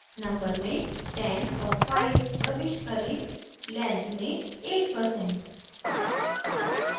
number में 10 और 5 प्रविष्ट करें; length में 8%